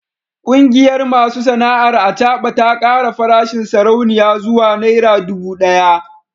Kungiyar masu sana’ar acaba ta kara farashin sarauniya zuwa naira dubu daya